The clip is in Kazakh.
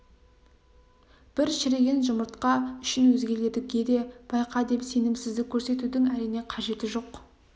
бір шіріген жұмыртқа үшін өзгелерге де байқа деп сенімсіздік көрсетудің әрине қажеті жоқ